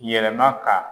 Yɛlɛma ka